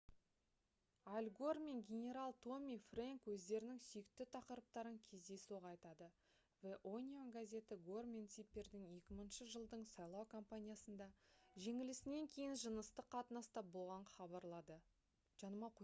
аль гор мен генерал томми фрэнк өздерінің сүйікті тақырыптарын кездейсоқ айтады the onion газеті гор мен типпердің 2000 жылдың сайлау компаниясында жеңілісінен кейін жыныстық қатынаста болғанын хабарлады